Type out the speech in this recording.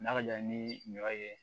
N'a ka jan ni ɲɔ ye